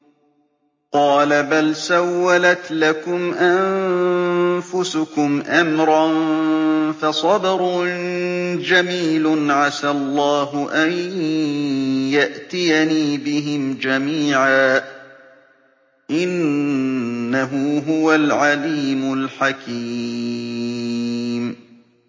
قَالَ بَلْ سَوَّلَتْ لَكُمْ أَنفُسُكُمْ أَمْرًا ۖ فَصَبْرٌ جَمِيلٌ ۖ عَسَى اللَّهُ أَن يَأْتِيَنِي بِهِمْ جَمِيعًا ۚ إِنَّهُ هُوَ الْعَلِيمُ الْحَكِيمُ